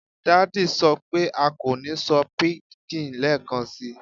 Daddy sọ pe a ko ni sọ pidgin lẹẹkansi